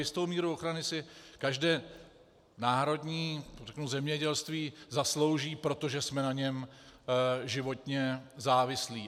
Jistou míru ochrany si každé národní zemědělství zaslouží, protože jsme na něm životně závislí.